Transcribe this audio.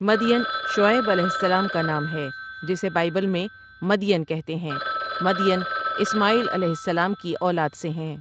مدین شعیب علیہ سلام کا نام ہے جسے بائبل میں مدین کہتے ہیں مدین اسماعیل علیہ سلام کی اولاد سے ہیں ۔